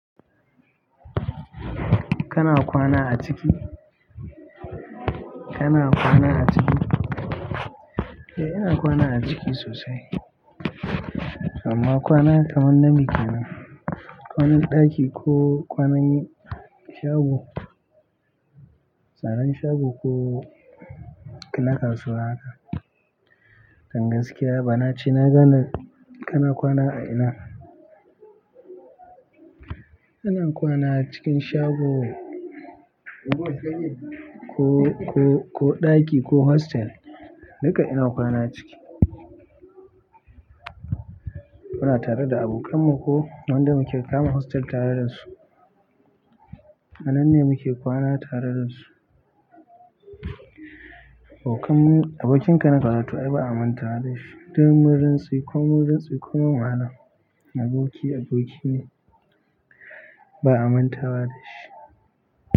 Kana kwana a ciki? Kana kwana a ciki? Eh, ina kwana a ciki sosai. Amma kwana kaman na ne kenan, kwanan ɗaki ko kuma kwanan shago. Tsaron shago ko na kasuwa haka. Don gaskiya bana ce na gani kana kwana a ina. Ina kwana cikin shago ko, ko, ko ɗaki ko hostel. Duka ina kwana ciki. Muna tare da abokan mu ko wanda muke kama hostel tare da su. A nan ne muke kwana tare da su. Abokan mu, abokin ka na karatu ai ba a mantawa da shi. Don murinsu ko min rinsu ko ma'ana. Aboki aboki ne ba a mantawa da shi.